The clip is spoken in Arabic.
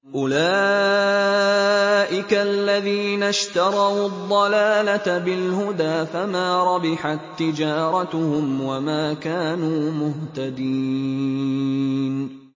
أُولَٰئِكَ الَّذِينَ اشْتَرَوُا الضَّلَالَةَ بِالْهُدَىٰ فَمَا رَبِحَت تِّجَارَتُهُمْ وَمَا كَانُوا مُهْتَدِينَ